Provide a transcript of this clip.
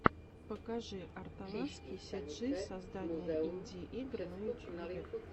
покажи арталаский сиджи создание инди игр на ютубе